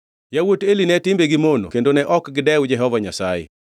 Yawuot Eli ne timbegi mono kendo ne ok gidew Jehova Nyasaye.